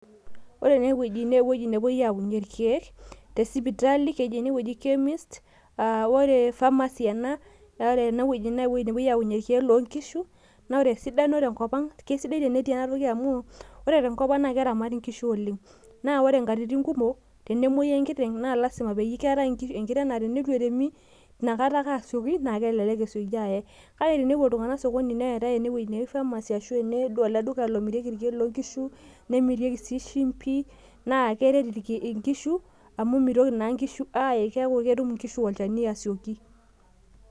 Ore ene wueji naa ewueji nepuoi aayayie irkeek te sipitali, keji ene wueji chemist aa ore ene wueji pharmacy ena naa ore ene wueji kepuoi aayaunyie irkeek loo nkishu, naa ore esidano tenkop ang', kisidai tenetii ena toki amu ore enkop ang' na keramati nkishu oleng', naa ore nkatitin kumok, tenemuoi enkiteng' naa keetae enkiteng' naa teneitu eremi ina kata ake asioki naa kelelek esioki aye, kake tenepuo iltung'ank sokoni neetae ena toki naji pharmacy ashu ene ele duka lomirieki irkeek loo nkishu, nemirieki sii shimpi, naa keret nkishu amu mitoki naa nkishu aae keeku ketum nkishu olchani asioki.